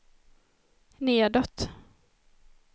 nedåt